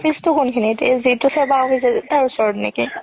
office তো কোনখিনত তাৰ ওচৰত নেকি